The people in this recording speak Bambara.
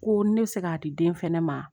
Ko ne bɛ se k'a di den fɛnɛ ma